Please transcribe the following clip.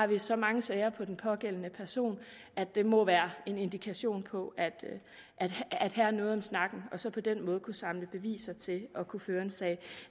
der så mange sager på den pågældende person at det må være en indikation på at der er noget om snakken så der på den måde kunne samles beviser til at kunne føre en sag